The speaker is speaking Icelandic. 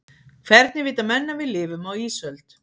hvernig vita menn að við lifum á ísöld